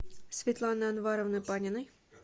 светланы анваровны паниной